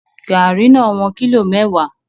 Garri no won kilo mewa